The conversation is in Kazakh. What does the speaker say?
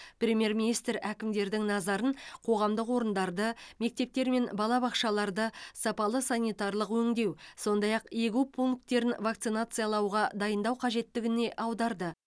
премьер министр әкімдердің назарын қоғамдық орындарды мектептер мен балабақшаларды сапалы санитарлық өңдеу сондай ақ егу пункттерін вакцинациялауға дайындау қажеттігіне аударды